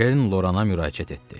Kern Lorana müraciət etdi.